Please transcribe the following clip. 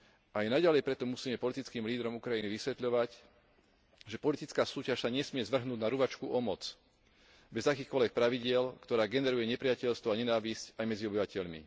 Aj naďalej preto musíme politickým lídrom Ukrajiny vysvetľovať, že politická súťaž sa nesmie zvrhnúť na ruvačku o moc bez akýchkoľvek pravidiel, ktorá generuje nepriateľstvo a nenávisť aj medzi obyvateľmi.